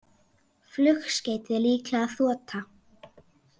Flugskeytið líklega þota